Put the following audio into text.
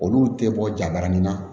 Olu tɛ bɔ jabaranin na